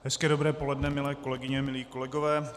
Hezké dobré poledne, milé kolegyně, milí kolegové.